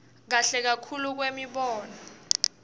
kahle kakhulu kwemibono